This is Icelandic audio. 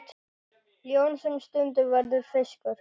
Ljón sem stundum verður fiskur.